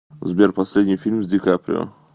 сбер последний фильм с ди каприо